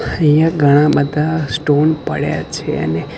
અહિયા ઘણા બધા સ્ટોન પડ્યા છે અને.